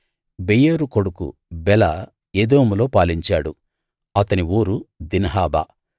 బెయోరు కొడుకు బెల ఎదోములో పాలించాడు అతని ఊరు దిన్హాబా